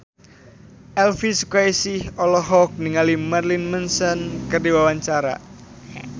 Elvy Sukaesih olohok ningali Marilyn Manson keur diwawancara